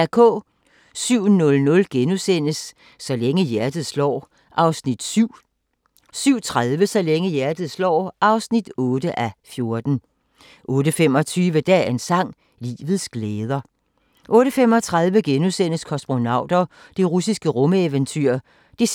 07:00: Så længe hjertet slår (7:14)* 07:30: Så længe hjertet slår (8:14) 08:25: Dagens sang: Livets glæder 08:35: Kosmonauter – det russiske rumeventyr (2:2)*